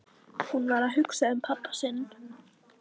Hún var að hugsa um pabba sinn.